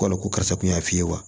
Wala ko karisa kun y'a fi ye wa